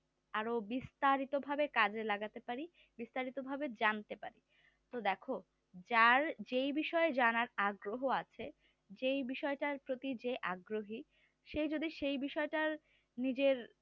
আরো বিস্তারিত ভাবে কাজে লাগাতে পারি বিস্তারিত ভাবে জানতে পারি তো দেখো যার যেই বিষয়ে জানার আগ্রহ আছে যেই বিষয়টার প্রতি যে আগ্রহী সেই যদি সেই বিষয়টার নিজের